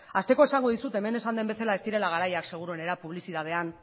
hasteko esango dizut hemen esan den bezala ez direla garaiak seguruenera publizitatean